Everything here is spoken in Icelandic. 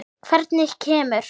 Hvernig kemur